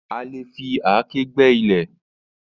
A lè fi àáké gbẹ́ ilẹ̀.